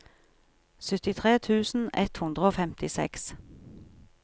syttitre tusen ett hundre og femtiseks